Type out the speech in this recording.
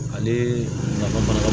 Ale nafa ka